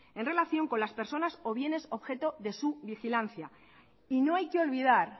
en relación con las personas o bienes objeto de su vigilancia y no hay que olvidar